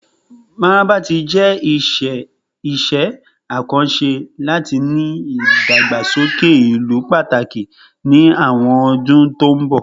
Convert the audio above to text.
Mararaba ti jẹ iṣẹ akanṣe lati ni idagbasoke ilu pataki ni awọn ọdun to nbọ